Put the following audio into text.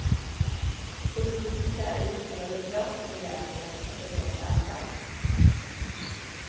Undvik träytor, eller blöt dem rejält innan du sätter igång och eldar.